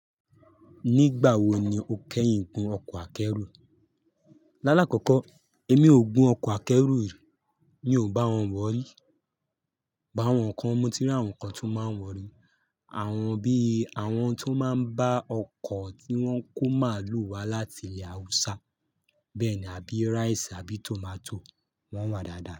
Nígbà wo ni o kẹ́yìn gun ọkọ̀ akẹ́rù? Lálá kọ́kọ́ èmi ò gun ọkọ̀ akẹ́rù rí, mi ò bá wọn wọ̀ọ́ rí. Bọ̀ àwọn nǹkan moti ri àwọn kan tó máa wọ̀ọ́ rí. Àwọn bí i àwọn tó máa ń bá ọkọ̀ tí wọ́n kó màálù wá láti ilẹ̀ Haúsá. Bẹ́ẹ̀ ni, àbí rice, àbí tomato. Wọ́n wà dáadáa.